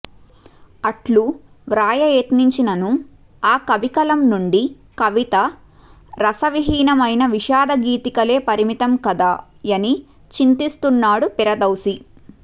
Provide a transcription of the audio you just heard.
అట్లు వ్రాయయత్నించిననను ఆ కవికలంనుండి కవిత రసవిహీనమైన విషాదగీతికలకే పరిమితం కదా యని చింతిస్తున్నాడు పిరదౌసి